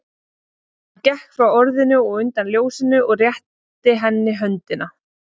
Hann gekk frá orðinu og undan ljósinu og rétti henni höndina.